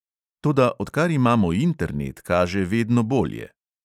Toda odkar imamo internet, kaže vedno bolje.